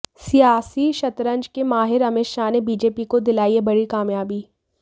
सियासी शतरंज के माहिर अमित शाह ने बीजेपी को दिलाई है बड़ी कामयाबी